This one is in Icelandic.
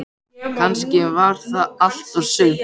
Kannski var það allt og sumt.